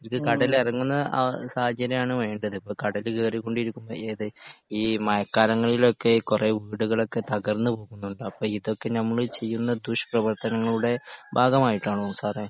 ഇത് കടല ഇറങ്ങുന്ന ആ സാഹചര്യമാണ് വേണ്ടത് ഇപ്പോ കടല് കേറി കൊണ്ട് ഇരിക്കുമ്പോ ഏത് ഈ മഴക്കാലങ്ങളിലോക്കെ കുറെ വീടുകളൊക്കെ തകർന്നു പോകുന്നുണ്ട് അപ്പോ ഇതൊക്കെ നമ്മള് ചെയ്യുന്ന ദുഷ് പ്രവർത്തനങ്ങളുടെ ഭാഗമായിട്ടാണോ സാറേ